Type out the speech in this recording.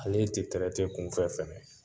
Ale tɛ kunfɛ fɛnɛ